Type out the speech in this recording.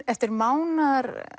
eftir mánaðar